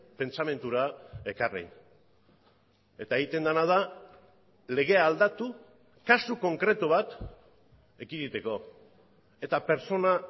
pentsamendura ekarri eta egiten dena da legea aldatu kasu konkretu bat ekiditeko eta pertsona